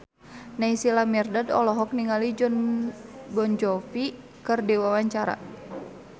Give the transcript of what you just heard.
Naysila Mirdad olohok ningali Jon Bon Jovi keur diwawancara